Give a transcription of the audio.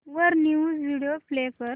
वर news video play कर